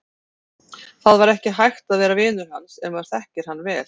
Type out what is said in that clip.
Það var ekki hægt að vera vinur hans ef maður þekkir hann vel.